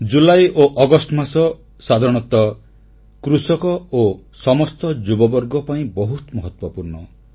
ଜୁଲାଇ ଓ ଅଗଷ୍ଟ ମାସ ସାଧାରଣତଃ କୃଷକ ଓ ସମସ୍ତ ଯୁବବର୍ଗ ପାଇଁ ବହୁତ ମହତ୍ୱପୂର୍ଣ୍ଣ